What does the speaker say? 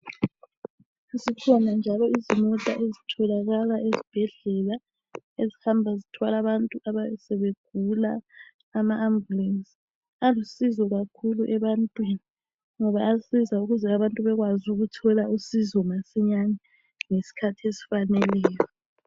Sezikhona njalo izimota ezitholakala esibhedlela ezihamba zithwala abantu abantu abayabe sebegula ama Ambulensi. Alusizo kakhulu ebantwini ngoba ayasiza kakhulu ukuze abantu bekwazi ukuthola usizo masinyane ngesikhathi esifaneleyo.